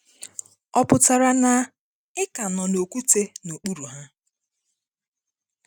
Ọ pụtara na ị ka nọ n’okwute n’okpuru ha.